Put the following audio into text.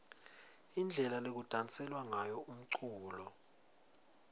indlela lekudanselwa ngayo umculo